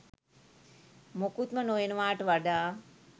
මොකුත්ම නොවෙනවාට වඩා